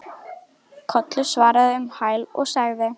Kollur svaraði um hæl og sagði